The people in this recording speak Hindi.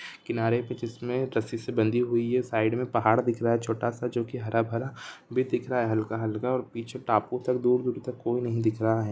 किनारे पे जिसमें रस्सी से बंधी हुई है साइड में पहाड़ दिख रहा है छोटा-सा जोकि हरा-भरा भी दिख रहा है हल्का-हल्का पीछे टापू तक दूर-दूर तक कोई नहीं दिख रहा है।